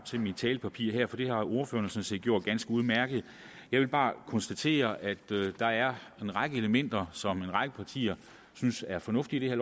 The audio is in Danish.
til i mit talepapir her for det har ordførerne sådan set gjort ganske udmærket jeg vil bare konstatere at der er en række elementer som en række partier synes er fornuftige i det